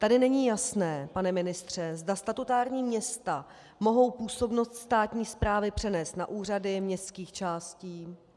Tady není jasné, pane ministře, zda statutární města mohou působnost státní správy přenést na úřady městských částí.